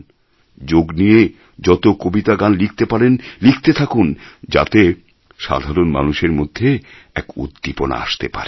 যোগ নিয়ে যত কবিতা গান লিখতে পারেন লিখতে থাকুন যাতে সাধারণ মানুষের মধ্যে এক উদ্দীপনা আসতে পারে